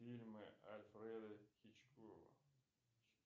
фильмы альфреда хичкока